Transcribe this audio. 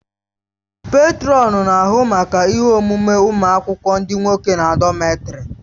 Pètrọn na-ahụ maka ihe omume ụmụ akwụkwọ ndị nwoke na dọmètarì